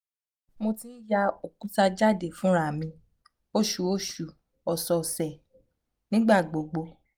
mo ti n ya okuta jade funra mi - oṣooṣu ọ̀sẹ̀ọ̀sẹ̀ - nigbagbogbo